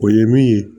O ye min ye